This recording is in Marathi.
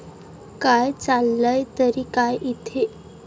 काय, चाललंय तरी काय इथे?